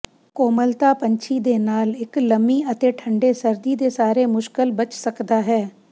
ਕੋਮਲਤਾ ਪੰਛੀ ਦੇ ਨਾਲ ਇੱਕ ਲੰਮੀ ਅਤੇ ਠੰਡੇ ਸਰਦੀ ਦੇ ਸਾਰੇ ਮੁਸ਼ਕਲ ਬਚ ਸਕਦਾ ਹੈ